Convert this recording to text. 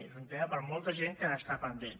és un tema per molta gent que n’està pendent